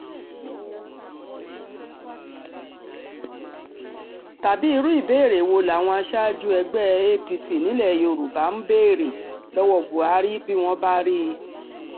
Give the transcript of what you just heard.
tàbí irú ìbéèrè wo làwọn aṣáájú ẹgbẹ́ apc nílẹ̀ yorùbá ń béèrè lọ́wọ́ buhari bí wọ́n bá rí i